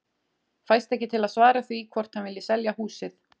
Fæst ekki til að svara því hvort hann vilji selja húsið.